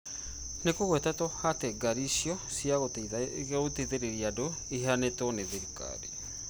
Nĩ kũgwetetwo atĩ ngaari icio cia gũteithĩrĩria andũ iheanĩtwo nĩ thirikari.